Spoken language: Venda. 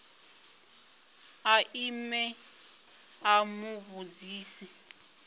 a ime a mu vhudzisa